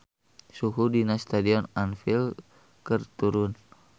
Suhu di Stadion Anfield keur turun